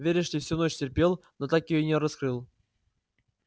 веришь ли всю ночь терпел но так её и не раскрыл